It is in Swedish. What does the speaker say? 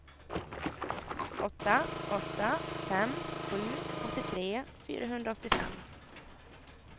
åtta åtta fem sju åttiotre fyrahundraåttiofem